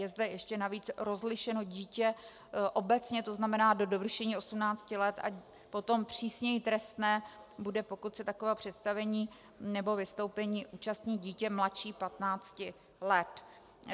Je zde ještě navíc rozlišeno dítě obecně, to znamená do dovršení 18 let, a potom přísněji trestné bude, pokud se takového představení nebo vystoupení účastní dítě mladší 15 let.